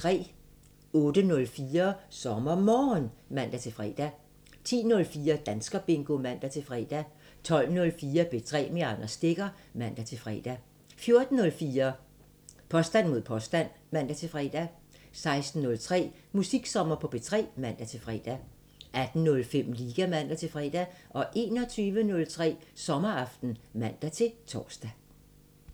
08:04: SommerMorgen (man-fre) 10:04: Danskerbingo (man-fre) 12:04: P3 med Anders Stegger (man-fre) 14:04: Påstand mod påstand (man-fre) 16:03: Musiksommer på P3 (man-fre) 18:05: Liga (man-fre) 21:03: Sommeraften (man-tor)